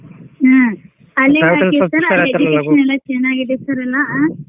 ಹಾ ಅಲ್ಲಿ ಚನಾಗಿದೆ sir ಎಲ್ಲಾ ಅ.